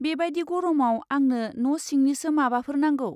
बेबादि गरमाव आंनो न' सिंनिसो माबाफोर नांगौ।